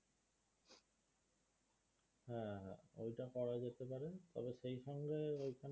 এটা করা যেতে পারে তবে সেই সঙ্গে ওইখানে